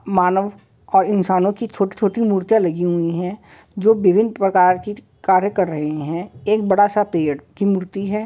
मानव और इन्सानों की छोटी-छोटी मूर्तियाँ लगी हुई हैं जो विभिन्न प्रकार की कार्य कर रहे हैं। एक बड़ा-सा पेड़ की मूर्ति है।